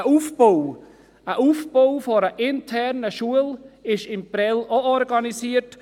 Auch ist der Aufbau einer internen Schule in Prêles organisiert.